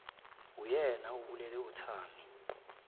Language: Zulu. uyena obulele uthami